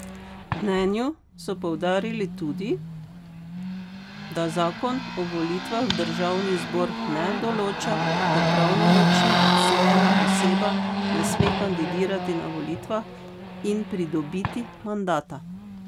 V mnenju so poudarili tudi, da zakon o volitvah v državni zbor ne določa, da pravnomočna obsojena oseba ne sme kandidirati na volitvah in pridobiti mandata.